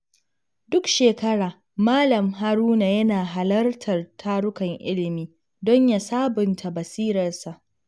Duk shekara, Malam Haruna yana halartar tarukan ilimi don ya sabunta basirarsa.